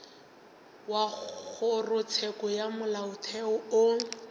wa kgorotsheko ya molaotheo o